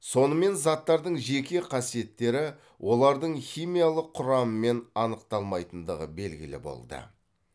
сонымен заттардың жеке қасиеттері олардың химиялық құрамымен анықталмайтындығы белгілі болды